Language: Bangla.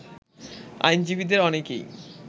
আইনজীবীদের অনেকেই